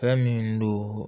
Fɛn min don